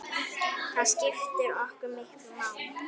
Það skiptir okkur miklu máli.